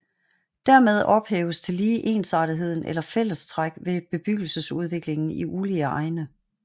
Dermed ophæves tillige ensartetheden eller fællestræk ved bebyggelsesudviklingen i ulige egne